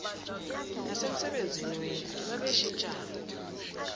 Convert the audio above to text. nasemsebenzini wendlu babeshintshana